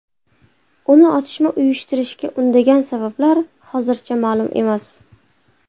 Uni otishma uyushtirishga undagan sabablar hozircha ma’lum emas.